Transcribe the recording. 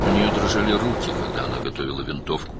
Tüfəngi hazırlayarkən əlləri əsirdi.